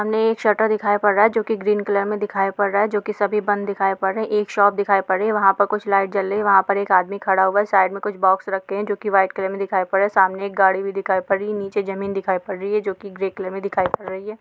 सामने एक शटर दिखाई पड़ रहा है जो की ग्रीन कलर मे दिखाई पड़ रहा है जो की सभी बंद दिखाई पड़ रहे हैं| एक शॉप दिखाई पड़ रही है वहाँ पे कुछ लाइट जल रही है वहाँ पे एक खड़ा हुआ साइड में कुछ बॉक्स रखे हैं जो कि व्हाइट कलर में दिखाई पड़ रहे हैं| सामने एक गाड़ी भी दिखाई पड़ रही है नीचे जमीन दिखाई पड़ रही है जो कि ग्रे कलर में दिखाई पड़ रही है ।